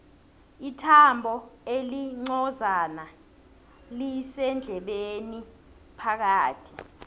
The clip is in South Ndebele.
ithambo elincozana lisendlebeni phakathi